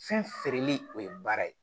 Fɛn feereli o ye baara ye